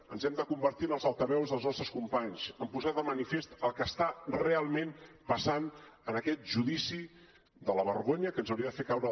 ens hem de convertir en els altaveus dels nostres companys en posar de manifest el que està realment passant en aquest judici de la vergonya que ens hauria de fer caure